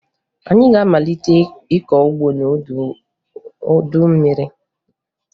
Anyị ga-amalite ịkọ ugbo n'oge udu mmiri